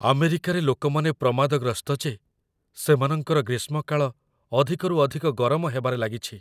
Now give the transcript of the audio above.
ଆମେରିକାରେ ଲୋକମାନେ ପ୍ରମାଦଗ୍ରସ୍ତ ଯେ ସେମାନଙ୍କର ଗ୍ରୀଷ୍ମ କାଳ ଅଧିକରୁ ଅଧିକ ଗରମ ହେବାରେ ଲାଗିଛି।